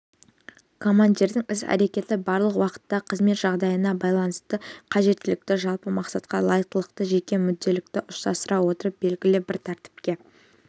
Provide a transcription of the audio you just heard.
командирдің іс-әрекеті барлық уақытта қызмет жағдайына байланысты қажеттілікті жалпы мақсатқа лайықтылықты жеке мүдделікті ұштастыра отырып белгілі біртәртіпке